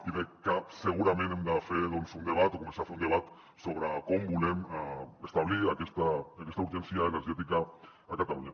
i segurament hem de fer un debat o començar a fer un debat sobre com volem establir aquesta urgència energètica a catalunya